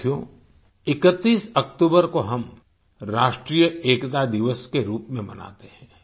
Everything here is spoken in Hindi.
साथियो 31 अक्तूबर को हम राष्ट्रीय एकता दिवस के रूप में मनाते हैं